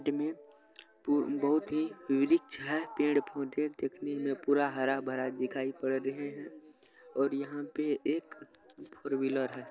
Side में बहुत ही रिच है पेड़-पौधे दिखने में पूरा हरा-भरा दिखया पद रहा है और यहाँ पे एक फोर व्हीलर है।